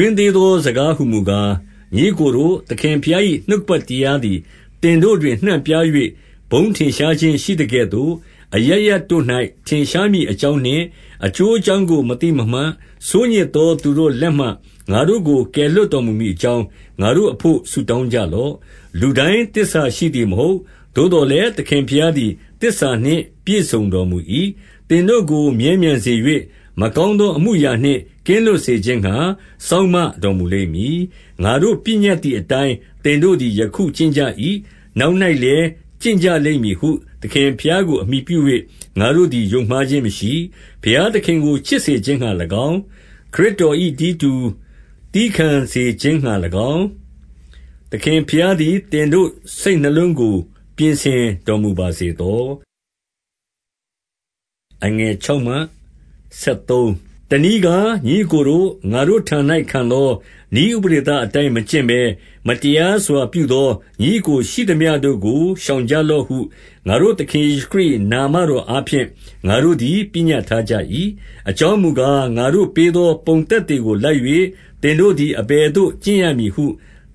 ွင်းသေးသော စကားဟူမူကား၊ ညီအစ်ကိုတို့၊ သခင်ဘုရား၏ နှုတ်ကပက်တရားသည် သင်တို့တွင် နှံ့ပြား၍ ဘုန်းထင်ရှားခြင်းရှိသကဲ့သို့၊ အရပ်ရပ်တို့၌ ထင်ရှားမည်အကြောင်းနှင့်၊ 2 အကျိုးအကြောင်းကို မသိမမှတ်၊ ဆိုးညစ်သော သူတို့လက်မှငါတို့ကို ကယ်လွှတ်တော်မူမည် အကြောင်း၊ ငါတို့အဘို့ ဆုတောင်းကြလော့။ လူတိုင်း သစ္စာရှိသည် မဟုတ်။ 3 သို့သော်လည်း၊ သခင်ဘုရားသည် သစ္စာနှင့် ပြည့်စုံတော်မူ၏။ သင်တို့ကိုမြဲမြံစေ၍၊ မကောင်းအမှု အရာနှင့် ကင်းလွတ်စေခြင်းငှါ စောင့်မတော်မူလိမ့်မည်။ 4 ငါတို့ပညတ်သည် အတိုင်းသင်တို့သည် ယခုကျင့်ကြ၏။ နောက်၌လည်းကျင့်ကြလိမ့်မည်ဟု သခင် ဘုရားကို အမှီပြု၍ ငါတို့သည် ယုံမှားခြင်းမရှိ။ 5 ဘုရားသခင်ကို ချစ်စေခြင်းငှါ၎င်း၊ သခင်ဘုရားသည် သင်တို့စိတ်နှလုံးကို ပြင်ဆင်တော်မူပါစေသော။ 6 တနည်းကား၊ ညီအစ်ကိုတို့၊ ငါတို့ထံ၌ခံသော နည်းဥပဒေသအတိုင်း မကျင့်ဘဲ၊ မတရားစွာပြုသော ညီအစ်ကိုရှိသမျှတို့ကို ရှောင်ကြလော့ဟု ငါတို့သခင် ယေရှုခရစ်၏ နာမတော်အားဖြင့် ငါတို့သည် ပညတ်ထား ကြ၏။ 7 အကြောင်းမူကား၊ ငါတို့ပေးသော ပုံသက်သေကိုလိုက်၍ သင်တို့သည် အဘယ်သို့ကျင့်ရမည်ဟု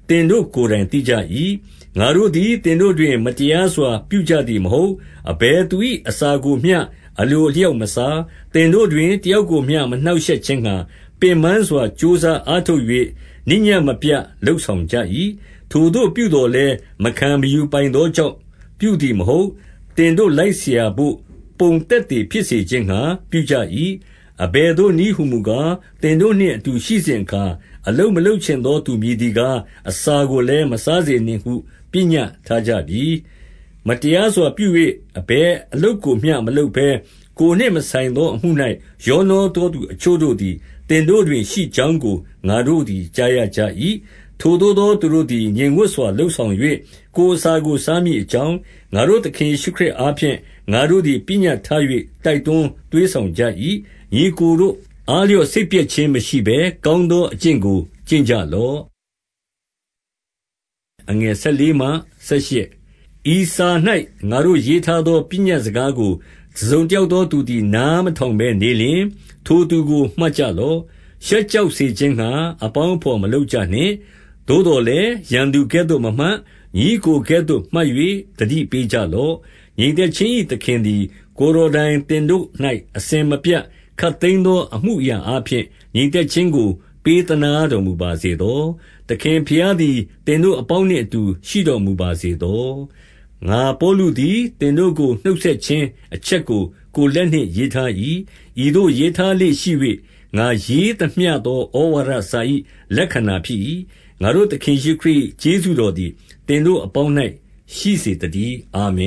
သင်တို့ ကိုယ်တိုင်သိကြ၏။ ငါတို့သည် သင်တို့တွင် မတရားစွာ ပြုကြသည်မဟုတ်။ 8 အဘယ်သူ၏ အစာကိုမျှအလိုအလျောက် မစား။ သင်တို့တွင် တယောက်ကိုမျှ မနှောင့်ရှက်ခြင်းငှါ၊ ပင်ပန်းစွာ ကြိုးစားအားထုတ်၍ နေ့ညဉ့်မပြတ်လုပ်ဆောင်ကြ၏။ 9 ထိုသို့ပြုသော်လည်း၊ မခံမယူပိုင်သောကြောင့် ပြုသည်မဟုတ်။ သင်တို့လိုက်စရာဘို့ ပုံသက်သေဖြစ် စေခြင်းငှါပြုကြ၏။ 10 အဘယ်သို့နည်းဟူမူကား၊ သင်တို့နှင့်အတူရှိနေစဉ်အခါ၊ အလုပ်မလုပ်ချင်သောသူ မည်သည်ကား၊ အစာကိုလည်းမစားစေနှင့်ဟု ပညတ်ထားကြပြီ။ 11 မတရားစွာပြု၍ အဘယ်အလုပ်ကိုမျှ မလုပ်ဘဲ၊ ကိုယ်နှင့်မဆိုင်သောအမှု၌ ရောနှောသော သူအချို့ တို့သည် သင်တို့တွင်ရှိကြောင်းကို ငါတို့ကြားရကြ၏။ 12 ထိုသို့သောသူတို့သည် ငြိမ်ဝပ်စွာ လုပ်ဆောင်၍၊ ကိုယ်အစာကို စားမည်အကြောင်း၊ ငါတို့သခင် ယေရှုခရစ်အားဖြင့် ငါတို့သည် ပညတ်ထား၍၊ တိုက်တွန်း သွေးဆောင်ကြ၏။ 13 ညီအစ်ကိုတို့အားလျော့ စိတ်ပျက်ခြင်းမရှိဘဲ ကောင်းသောအကျင့်ကို ကျင့်ကြလော့။ 14 ဤစာ၌ ငါတို့ရေးထားသော ပညတ်စကားကို တစုံတယောက်သောသူသည် နားမထောင်ဘဲ နေလျှင်၊ ထိုသူကိုမှတ်ကြလော့။ ရှက်ကြောက်စေခြင်းငှါ၊ အပေါင်းအဘော်မလုပ်ကြနှင့်။ 15 သို့သော်လည်း၊ ရန်သူကဲ့သို့မမှတ်၊ ညီအစ်ကို ကဲ့သို့မှတ်၍ သတိပေးကြလော့။ 16 ငြိမ်သက်ခြင်း၏ သခင်သည် ကိုယ်တော်တိုင် သင်တို့၌ အစဉ်မပြတ်ခပ်သိမ်းသော အမူအရာအားဖြင့် ငြိမ်သက်ခြင်းကို ပေးသနားတော်မူပါစေသော။ သခင်ဘုရားသည် သင်တို့အပေါင်းနျင့်အတူ ရှိတော်မူပါစေ သော။ 17 ငါပေါလုသည် သင်တို့ကို နှုတ်ဆက်ခြင်း အချက်ကို ကိုယ်လက်နှင့်ရေးထား၏။ ဤသို့ရေးထား လေ့ရှိ၍၊ ငါရေးသမျှသော ဩဝါဒ၏ လက္ခဏာဖြစ်၏။ 18 ငါတို့သခင်ယေရှုခရစ်၏ ကျေးဇူးတော်သည် သင်တို့အပေါင်း၌ ရှိစေသတည်း။ အာမင